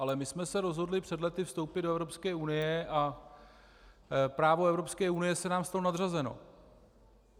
Ale my jsme se rozhodli před lety vstoupit do Evropské unie a právo Evropské unie je nám v tom nadřazeno.